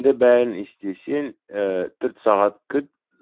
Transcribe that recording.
енді бәрін істесең төрт сағат күт